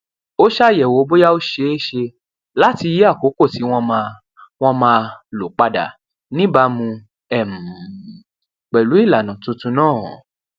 ó ṣàyẹwò bóyá ó ṣeé ṣe láti yí àkókò tí wọn máa wọn máa lò padà níbàámu um pẹlú ìlànà tuntun náà